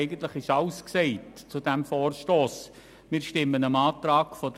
Eigentlich ist zu diesem Vorstoss bereits alles gesagt worden.